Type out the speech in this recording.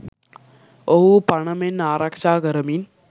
ඔවුහු පණ මෙන් ආරක්ෂා කරමින්